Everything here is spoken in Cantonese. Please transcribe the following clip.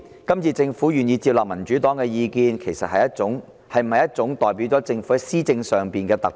今次政府願意接納民主黨的意見，是否代表政府在施政上的一種突破？